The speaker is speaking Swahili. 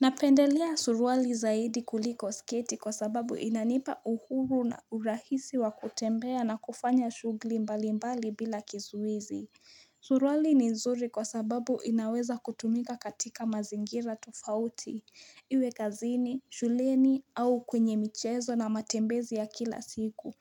Napendelea suruali zaidi kuliko sketi kwa sababu inanipa uhuru na urahisi wa kutembea na kufanya shugli mbalimbali bila kizuizi. Suruali ni nzuri kwa sababu inaweza kutumika katika mazingira tofauti, iwe kazini, shuleni au kwenye michezo na matembezi ya kila siku.